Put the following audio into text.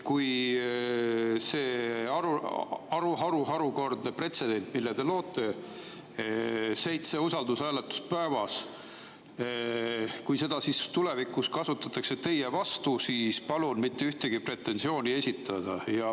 Kui seda harukordset pretsedenti, mille te loote – seitse usaldushääletust päevas –, tulevikus kasutatakse teie vastu, siis palun mitte ühtegi pretensiooni esitada.